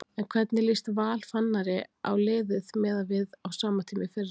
En hvernig líst Val Fannari á liðið miðað við á sama tíma í fyrra?